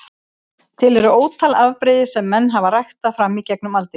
Til eru ótal afbrigði sem menn hafa ræktað fram í gegnum aldirnar.